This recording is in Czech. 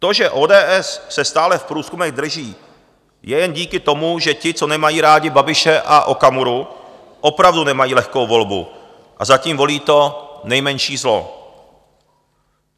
To, že ODS se stále v průzkumech drží, je jen díky tomu, že ti, co nemají rádi Babiše a Okamuru, opravdu nemají lehkou volbu a zatím volí to nejmenší zlo.